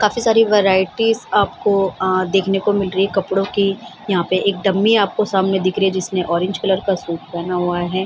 काफी सारी वैरायटीज आपको आ देखने को मिल रही कपड़ों की यहाँ पे एक डमी आपको सामने दिख रही जिसने ऑरेंज कलर का सूट पेहना हुआ है।